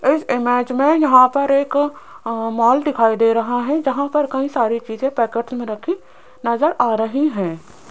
इस इमेज में यहां पर एक अ मॉल दिखाई दे रहा है जहां पर कई सारी चीजें पैकेट में रखी नजर आ रही हैं।